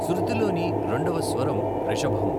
శృతిలోని రెండవ స్వరం రిషభం.